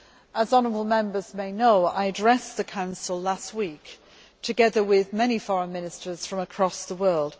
As honourable Members may know, I addressed the Council last week together with many Foreign Ministers from across the world.